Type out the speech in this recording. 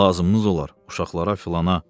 Lazımnız olar, uşaqlara, filana.